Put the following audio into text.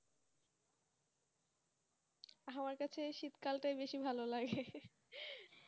আমার কাছে শীতকালটাই বেশি ভালো লাগে,